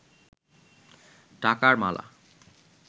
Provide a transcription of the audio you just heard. টাকার মালা